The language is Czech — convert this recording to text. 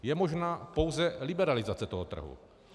Je možná pouze liberalizace toho trhu.